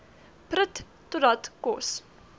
prut totdat kos